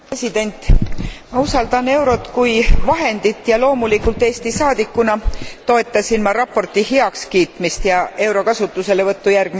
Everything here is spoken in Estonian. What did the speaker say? Ma usaldan eurot kui vahendit ja loomulikult Eesti saadikuna toetasin ma raporti heakskiitmist ja euro kasutuselevõttu järgmisest aastast.